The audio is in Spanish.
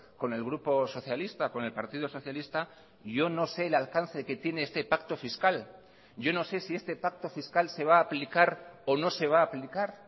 con el grupo socialista con el partido socialista yo no sé el alcance que tiene este pacto fiscal yo no sé si este pacto fiscal se va a aplicar o no se va a aplicar